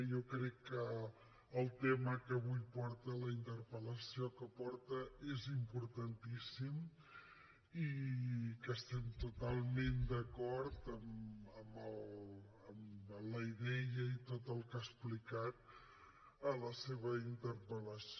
jo crec que el tema que avui porta la interpellació que porta és importantíssima i que estem totalment d’acord amb la idea i tot el que ha explicat a la seva interpel·lació